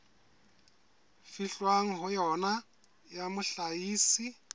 fihlwang ho yona ya mohlahisi